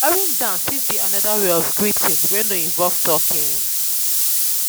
bowing down fit be anoda wey of greeting wey no involve talking